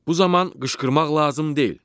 Bu zaman qışqırmaq lazım deyil.